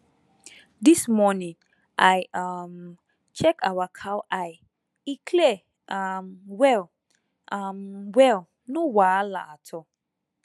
this morning i um check our cow eye e clear um well um well no wahala at all